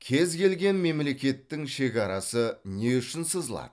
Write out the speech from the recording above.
кез келген мемлекеттің шекарасы не үшін сызылады